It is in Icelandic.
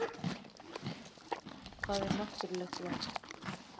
Hvað er náttúrulegt val?